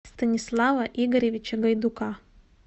станислава игоревича гайдука